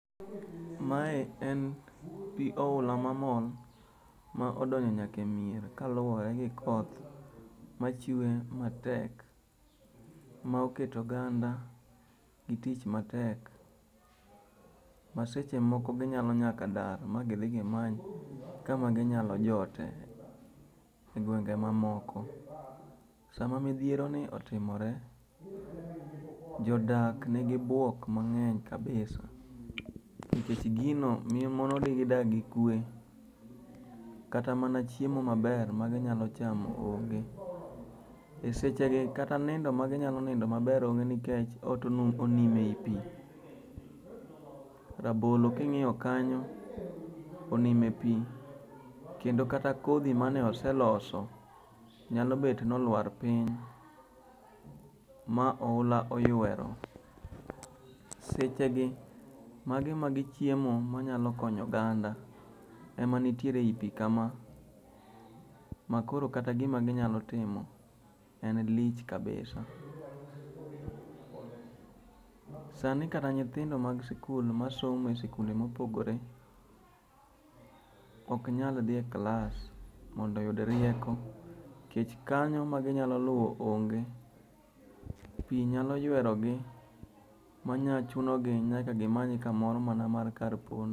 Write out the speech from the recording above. Mae en pi oula mamol ma odonjo nyaka e mier kaluwore gi koth machwe matek. Ma oketo oganda gi tich matek maseche moko gionyalo nyaka dar magidhi gimany kama ginyalo jotie egwenge moko. Sama midhieroni otimore jodak nigi buok mang'eny kabisa nikech gino monogi dak gikwe nikech kata mana chiemo maber magi nyalo chamo onge. Esechegi kata nindo ma ginyalo nindo maber onge nikech ot onimo ei pi. Rabolo ka ing#iyo kanyo onimo e pi kendo kata kodhi mane oseloso nyalo bet ni oluar piny ma oula oyuero. Sechegi magi mana chiemo manyalo konyo oganda ema nie pi makoro kata gima ginyalo timo en lich kabisa. Sani kata nyithindo mag sikul masomo e sikunde mopogre ok nyal dhi e klas mondo oyud rieko nikech kanyo ma ginyalo luwo onge, pi nyalo yuerogi manyalo chuno gi nyaka gimany kamoro mana kar pondo.